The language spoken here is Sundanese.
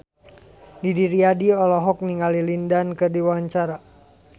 Didi Riyadi olohok ningali Lin Dan keur diwawancara